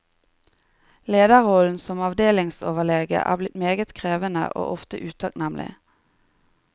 Lederrollen som avdelingsoverlege er blitt meget krevende og ofte utakknemlig.